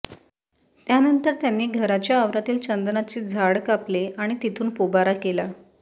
त्यानंतर त्यांनी घराच्या आवारातील चंदनाचे झाद कापले आणि तिथून पोबारा केला